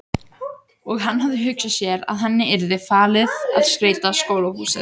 Og hann hafði hugsað sér að henni yrði falið að skreyta skólahúsið.